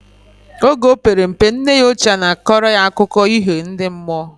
Oge opere mpe, nne ya oche na akora ya akụko iho ndi mmụọ